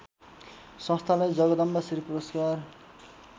संस्थालाई जगदम्बाश्री पुरस्कार